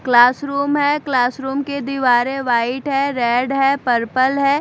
Classroom है classroom के दीवारें वाइट है रेड है पर्पल है।